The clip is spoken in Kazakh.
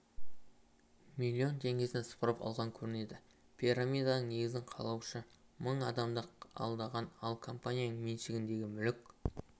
миллион теңгесін сыпырып алған көрінеді пирамиданың негізін қалаушы мың адамды алдаған ал компанияның меншігіндегі мүлік